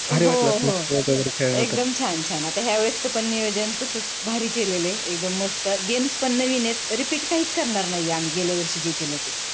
हो हो एकदम छान छान आता या वेळेसच पण नियोजन तसाच भारी केलेलं आहे एकदम मस्त games पण नवीन आहेत repeat काहीच करणार नाही गेल्यावर्षी जे केल ते.